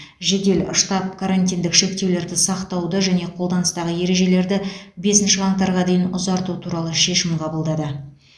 жедел штаб карантиндік шектеулерді сақтауды және қолданыстағы ережелерді бесінші қаңтарға дейін ұзарту туралы шешім қабылдады